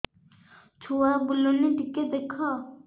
ଛୁଆ ବୁଲୁନି ଟିକେ ଦେଖ